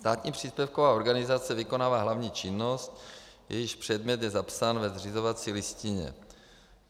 Státní příspěvková organizace vykonává hlavní činnost, jejíž předmět je zapsán ve zřizovací listině.